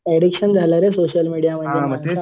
addiction झालंय रे social media